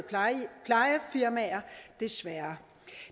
plejefirmaer desværre